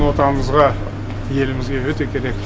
отанымызға елімізге өте керек